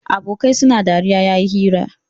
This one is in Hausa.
Abokai suna dariya yayi hira